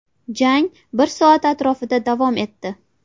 Jang bir soat atrofida davom etdi.